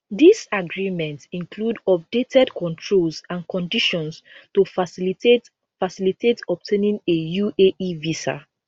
dis agreement include updated controls and conditions to facilitate facilitate obtaining a uae visa